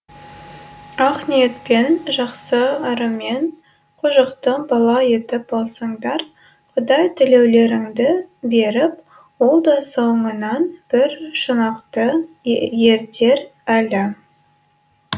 ақ ниетпен жақсы ырыммен қожықты бала етіп алсаңдар құдай тілеулеріңді беріп ол да соңынан бір шұнақты ертер әлі